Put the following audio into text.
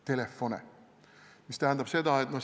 Telefone!